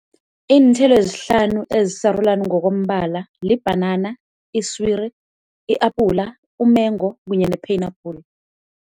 Iinthelo ezihlanu ezisarulani ngokombala libhanana, iswiri, i-apula, umengo kunye ne-pineapple.